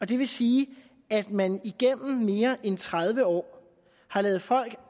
det vil sige at man igennem mere end tredive år har ladet folk